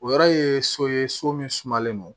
O yɔrɔ ye so ye so min sumalen don